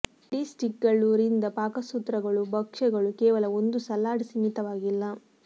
ಏಡಿ ಸ್ಟಿಕ್ಗಳು ರಿಂದ ಪಾಕಸೂತ್ರಗಳು ಭಕ್ಷ್ಯಗಳು ಕೇವಲ ಒಂದು ಸಲಾಡ್ ಸೀಮಿತವಾಗಿಲ್ಲ